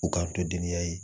U kan to denninya ye